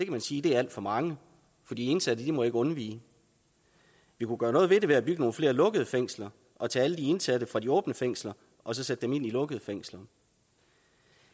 man sige er alt for mange for de indsatte må ikke undvige vi kunne gøre noget ved det ved at bygge nogle flere lukkede fængsler og tage alle de indsatte fra de åbne fængsler og sætte dem ind i lukkede fængsler